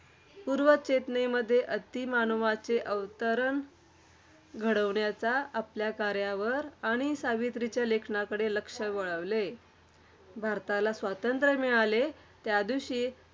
आणि पूर्वचेतनेमध्ये अतिमानवाचे अवतरण घडविण्याच्या आपल्या कार्यावर आणि सावित्रीच्या लेखनाकडे लक्ष वळविले. भारताला स्वातंत्र्य मिळाले त्यादिवशी,